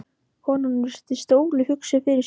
Konan virti stólinn hugsi fyrir sér.